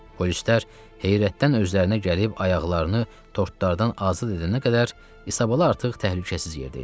Polislər heyrətdən özlərinə gəlib ayaqlarını tortlardan azad edənə qədər İsabala artıq təhlükəsiz yerdə idi.